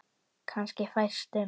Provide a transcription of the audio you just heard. Kannski fæstum.